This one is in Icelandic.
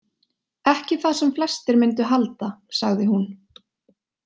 Ekki það sem flestir myndu halda, sagði hún.